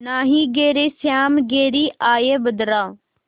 नाहीं घरे श्याम घेरि आये बदरा